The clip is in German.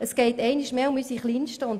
Es geht einmal mehr um unsere Kleinsten.